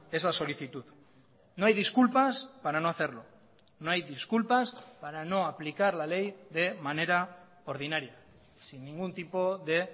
esa solicitud no hay disculpas para no hacerlo no hay disculpas para no aplicar la ley de manera ordinaria sin ningún tipo de